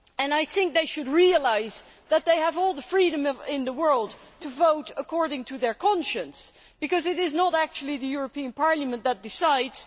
I think they should realise that they have all the freedom in the world to vote according to their conscience, because it is not actually the European Parliament that decides.